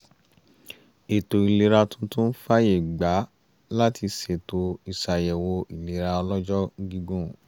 ètò ìlera tuntun fàyè gbà á láti ṣètò ìṣàyẹ̀wò ìlera ọlọ́jọ́ gígùn